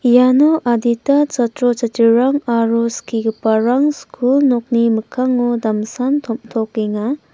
iano adita chatro chatrirang aro skigiparang skul nokni mikkango damsan tom·tokenga.